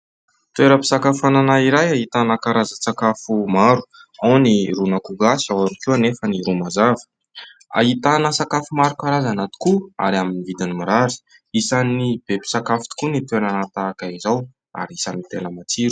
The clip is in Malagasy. Toeram-pisakafoanana iray ahitana karazan-tsakafo maro. Ao ny ron'akoho gasy, ao ihany koa anefa ny ro mazava. Ahitana sakafo maro karazana tokoa ary amin'ny vidiny mirary. Isan'ny be mpisakafo tokoa ny toerana tahaka izao ary isan'ny tena matsiro.